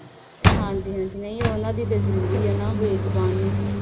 ਹਾਂ, ਉਹਨਾਂ ਦੀ ਤਾਂ ਜਰੂਰੀ ਆ, ਬੇਜੁਬਾਨ ਆ।